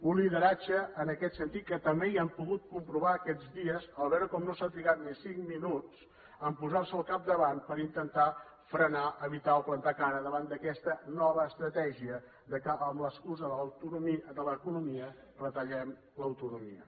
un lideratge en aquest sentit que també ja han pogut comprovar aquests dies en veure com no s’ha trigat ni cinc minuts a posar se al capdavant per intentar frenar evitar o plantar cara davant d’aquesta nova estratègia que amb l’excusa de l’economia retallem l’autonomia